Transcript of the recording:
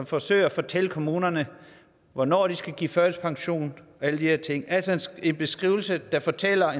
forsøger at fortælle kommunerne hvornår de skal give førtidspension og alle de her ting altså en skrivelse der fortæller